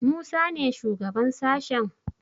Musa ne shugaban sashen?